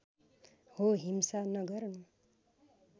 हो हिंसा नगर्नु